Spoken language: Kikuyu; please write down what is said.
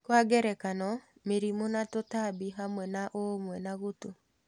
Kwa ngerekano mĩrimũ na tũtambi hamwe na ũumwe na gutu